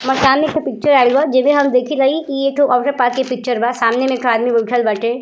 मकान मे एकठो पिक्चर आइल बा जेमें हम देखी रही कि पिक्चर बा। सामने में एकठो आदमी बैठल बाटे।